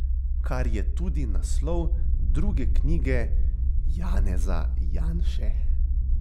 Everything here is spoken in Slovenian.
Kar je tudi naslov druge knjige Janeza Janše.